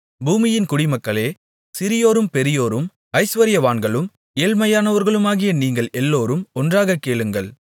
பூமியின் குடிமக்களே சிறியோரும் பெரியோரும் ஐசுவரியவான்களும் ஏழ்மையானவர்களுமாகிய நீங்கள் எல்லோரும் ஒன்றாக கேளுங்கள்